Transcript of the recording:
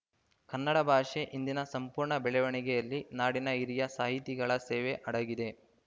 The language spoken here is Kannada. ಕನ್ನಡ ಭಾಷೆ ಇಂದಿನ ಸಂಪೂರ್ಣ ಬೆಳವಣಿಗೆಯಲ್ಲಿ ನಾಡಿನ ಹಿರಿಯ ಸಾಹಿತಿಗಳ ಸೇವೆ ಅಡಗಿದೆ